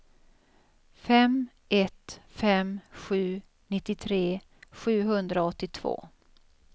fem ett fem sju nittiotre sjuhundraåttiotvå